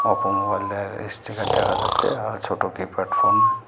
Oppo মোবাইলের sticker দেখা যাচ্ছে আর ছোট কিপ্যাড ফোন .